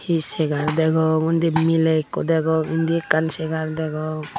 he segar degong undi miley ekku degong indi ekkan chegar degong.